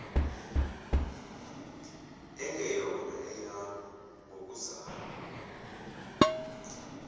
engeyona eyakho ngokuzalwa